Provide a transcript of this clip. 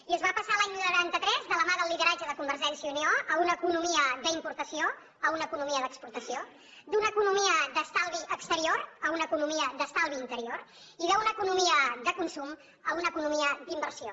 i es va passar l’any noranta tres de la mà del lideratge de convergència i unió a una economia d’importació a una economia d’exportació d’una economia d’estalvi exterior a una economia d’estalvi interior i d’una economia de consum a una economia d’inversió